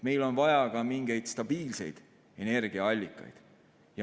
Meil on vaja ka mingeid stabiilseid energiaallikaid.